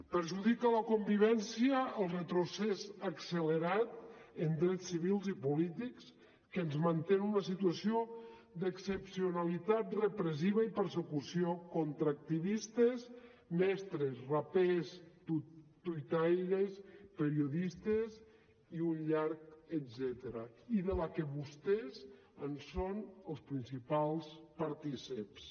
perjudica la convivència el retrocés accelerat en drets civils i polítics que ens manté en una situació d’excepcionalitat repressiva i persecució contra activistes mestres rapers tuitaires periodistes i un llarg etcètera i de la que vostès en són els principals partícips